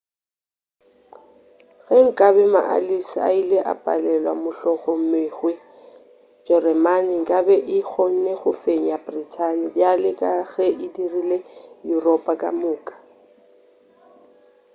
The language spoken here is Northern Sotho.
ge nkabe maallies a ile a palelwe mohlomongwe jeremane nkabe e kgonne go fenya brithani bjale ka ge e dirile yuropa ka moka